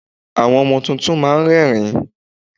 Àwọn ọmọ tuntun máa ń rẹ́rìń.